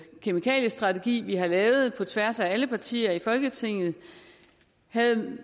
kemikaliestrategi vi har lavet på tværs af alle partier i folketinget havde